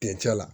Kencɛ la